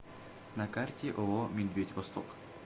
на карте ооо медведь восток